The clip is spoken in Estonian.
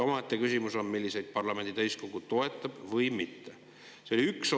Omaette küsimus on, milliseid parlamendi täiskogu toetab.